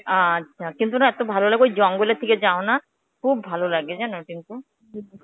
আচ্ছা, কিন্তু না এত্তো ভালো লাগবে ওই জঙ্গলের দিকে যাওনা. খুব ভালো লাগে যেন টিঙ্কু.